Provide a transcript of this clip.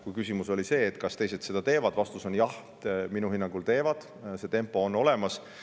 Kui küsimus oli see, kas teised seda teevad, siis vastus on: jah, minu hinnangul teevad, see tempo on olemas.